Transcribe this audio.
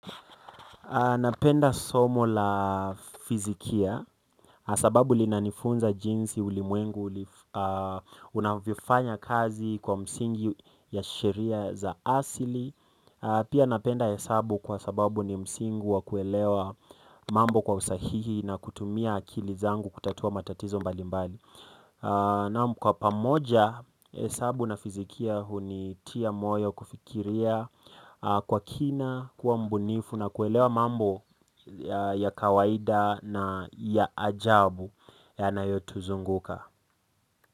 Napenda somo la fizikia. Asababu linanifunza jinsi ulimwengu unavyofanya kazi kwa msingi ya sheria za asili pia napenda hesabu kwa sababu ni msingi wa kuelewa mambo kwa usahihi na kutumia akili zangu kutatua matatizo mbali mbali naam kwa pamoja hesabu na fizikia huni tia moyo kufikiria kwa kina, kuwa mbunifu na kuelewa mambo ya kawaida na ya ajabu yanayotuzunguka.